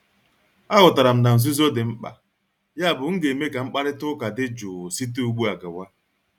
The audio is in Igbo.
Aghọtara m na nzuzo dị mkpa, yabụ m ga-eme ka mkparịta ụka dị jụụ site ugbu a gawa.